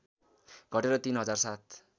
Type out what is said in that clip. घटेर ३ हजार ७